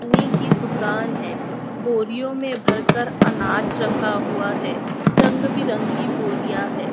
आने की दुकान है बोरियो में भर कर अनाज रखा हुआ है रंग बिरंगी बोरियां है।